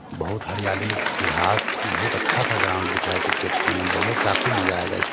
बहुत हरियाली घास बहुत अच्छा-सा ग्राउंड दिख रहा है क्रिकेट खेलने में बहुत काफी मजा आयेगा इस --